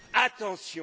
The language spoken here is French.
Attention!